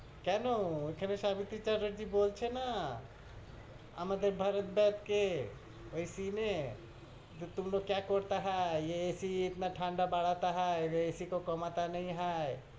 কেনো? এইখানে সাবিত্রী চ্যাটার্জি বলছে না? আমাদের ভরত দেব কে, ও scence, যে, তুম লোগ কিয়া করতা হায়, এ AC ইতনা ঠান্ডা বারতা হায়, AC ক কমতা নেহি হায়,